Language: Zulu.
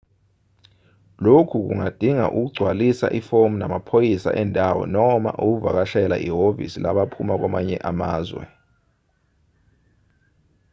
lokhu kungadinga ukugcwalisa ifomu namaphoyisa endawo noma ukuvakashela ihhovisi labaphuma kwamanye amazwe